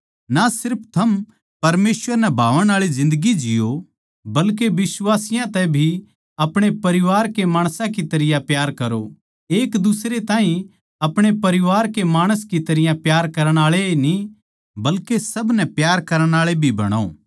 ना सिर्फ थम परमेसवर नै भावण आळी जिन्दगी जिओ बल्के बिश्वासियाँ तै भी अपणे परिवार के माणस की तरियां प्यार करो एक दुसरे ताहीं अपणे परिवार के माणस की तरियां प्यार करण आळे ए न्ही बल्के सब नै प्यार करण आळे भी बणो